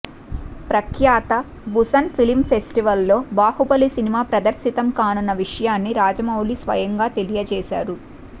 ప్రఖ్యాత Busan film ఫెస్టివల్లో బాహుబలి సినిమా ప్రదర్శితం కానున్న విషయాన్ని రాజమౌళి స్వయంగా తెలియజేశారు